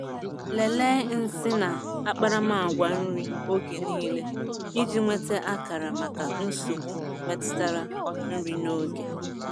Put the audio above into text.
Lelee nsị na akparamagwa nri oge niile iji nweta akara maka nsogbu metụtara nri n'oge.